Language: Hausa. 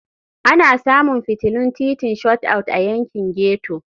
Ana samun fitilun titin Shot Out a yankin ghetto.